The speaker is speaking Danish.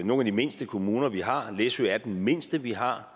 nogle af de mindste kommuner vi har læsø er den mindste vi har